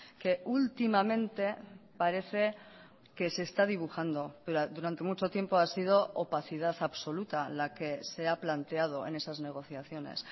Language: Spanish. que últimamente parece que se está dibujando pero durante mucho tiempo ha sido opacidad absoluta la que se ha planteado en esas negociaciones